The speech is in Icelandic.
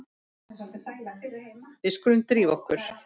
Við skulum drífa okkur.